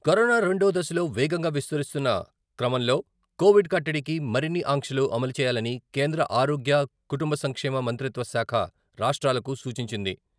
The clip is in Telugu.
కరోనా రెండో దశలో వేగంగా విస్తరిస్తున్న క్రమంలో కోవిడ్ కట్టడికి మరిన్ని ఆంక్షలు అమలుచేయాలని కేంద్ర ఆరోగ్య, కుటుంబ సంక్షేమ మంత్రిత్వ శాఖ రాష్ట్రాలకు సూచించింది.